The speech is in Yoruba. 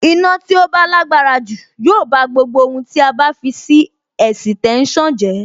Iná tí ó bá lágbára jù yóò bá gbogbo ohun tí a bá fi sí ẹ̀sìtẹ́nsàn jẹ́.